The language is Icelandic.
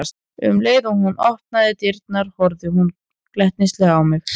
Um leið og hún opnaði dyrnar horfði hún glettnislega á mig.